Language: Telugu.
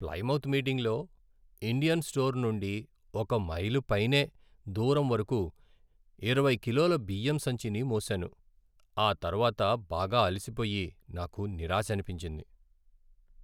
ప్లైమౌత్ మీటింగ్లో ఇండియన్ స్టోర్ నుండి ఒక మైలు పైనే దూరం వరకు ఇరవై కిలోల బియ్యం సంచిని మోసాను. ఆతర్వాత బాగా అలసిపోయి నాకు నిరాశనిపించింది.